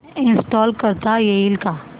install करता येईल का